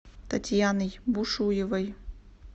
татьяной бушуевой